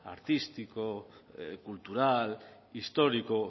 artístico cultural histórico